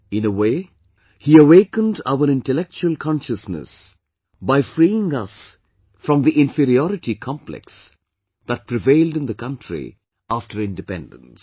In a way, he awakened our intellectual consciousness by freeing us from the inferiority complex that prevailed in the country after independence